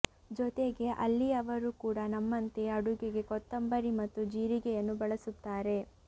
ಜೊತೆಗೆ ಅಲ್ಲಿಯವರು ಕೂಡ ನಮ್ಮಂತೆ ಅಡುಗೆಗೆ ಕೊತ್ತಂಬರಿ ಮತ್ತು ಜೀರಿಗೆಯನ್ನು ಬಳಸುತ್ತಾರೆ